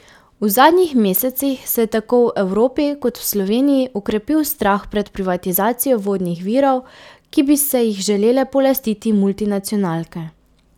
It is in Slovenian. V zadnjih mesecih se je tako v Evropi kot v Sloveniji okrepil strah pred privatizacijo vodnih virov, ki bi se jih želele polastiti multinacionalke.